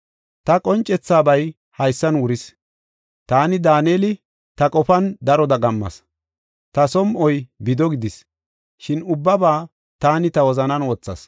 Ta qoncethabay haysan wuris. Taani, Daaneli, ta qofan daro dagammas; ta som7oy bido gidis. Shin ubbaba taani ta wozanan wothas.